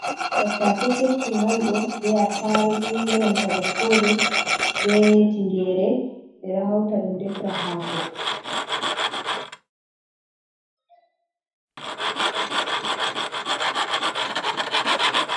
Tattase keccum on do be attarugu, be nanta baskoje be tingere be dohauta dum defra hako.